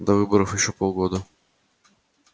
до выборов ещё полгода